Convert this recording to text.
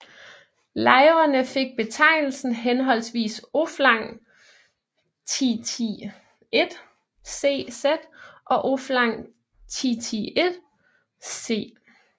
Lejrene fik betegnelsen henholdsvis Oflag XXI C z og Oflag XXI C